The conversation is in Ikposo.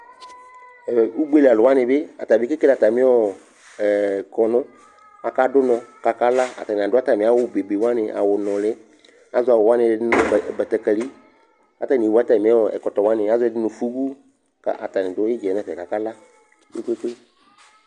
Ugbe li alʋ wanɩ bɩ kekele atamɩ ɔ ɛ kɔnʋ Akadʋ ʋnɔ kʋ akala Atanɩ adʋ atamɩ awʋ bebe wanɩ, awʋnʋlɩ Azɔ awʋ wanɩ ɛdɩ nʋ batakǝli kʋ atanɩ ewu atamɩ ɔ ɛkɔtɔ wanɩ, azɔ ɛdɩ nʋ fubu kʋ atanɩ dʋ ɩdza yɛ nʋ ɛfɛ kʋ akala likoto